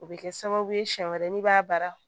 O bɛ kɛ sababu ye siɲɛ wɛrɛ n'i b'a baara